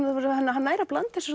hann nær að blanda þessu